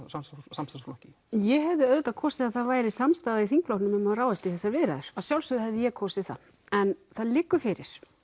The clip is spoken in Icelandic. samstarfsflokki ég hefði auðvitað kosið það væri samstaða í þingflokknum um að ráðast í þessar viðræður að sjálfsögðu hefði ég kosið það en það liggur fyrir